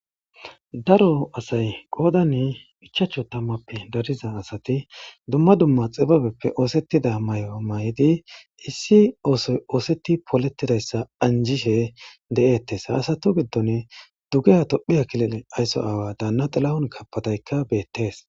Daro asay qodan ichchachu tamuppe dariza asati dumma dumma xibebeppe oththetida mayo mayidi issi oosoy otheti polletidayssa anjishe de'etes ha asatu giddon dugeha Tophphiya killilen ysso awa dana Tilahun kebedeykka bettes.